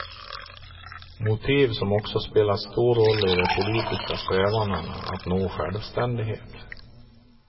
Motiv som också spelat stor roll i de politiska strävandena att nå sjävständighet.